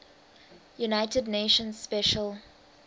united nations special